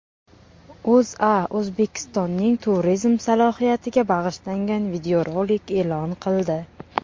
O‘zA O‘zbekistonning turizm salohiyatiga bag‘ishlangan videorolik e’lon qildi.